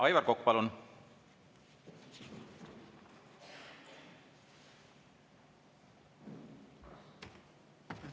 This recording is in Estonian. Aivar Kokk, palun!